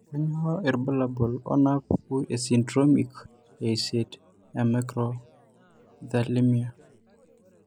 Kainyio irbulabul onaapuku esindiromic eisiet eMicrophthalmiae?